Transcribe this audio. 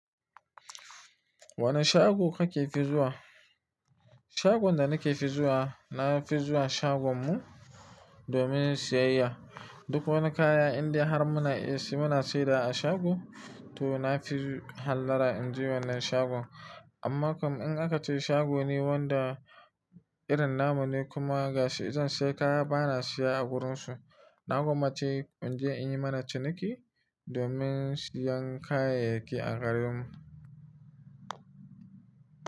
Wane shago kake fi zuwa? Shagon da nake fi zuwa, na fi zuwa shagon mu domin siyayya. Duk wani kaya indai har muna irin muna saidawa a shago, to na fi hallara in je wannan shagon. Amma kam in aka ce shago ne wanda irin namu ne kuma gashi izan sai kaya bana siya a wurinsu, na gwammace in je in yi mana ciniki domin siyan kayayyaki a garin mu.